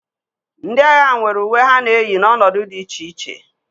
Ndị agha nwere uwe ha na-eyi n'ọnọdụ dị iche iche